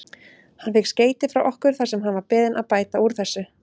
Hann fékk skeyti frá okkur þar sem hann var beðinn að bæta úr þessu.